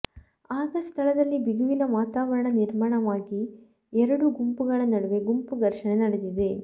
ಆಗ ಸ್ಥಳದಲ್ಲಿ ಬಿಗುವಿನ ವಾತಾವರಣ ನಿರ್ಮಾಣವಾಗಿ ಎರಡು ಗುಂಪುಗಳ ನಡುವೆ ಗುಂಪು ಘರ್ಷಣೆ ನಡೆದಿದೆ